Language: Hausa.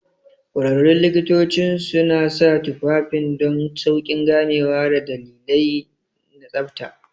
Ƙwararrun likitocin suna sa tufafin don sauƙin ganewa da dalilai na tsabta.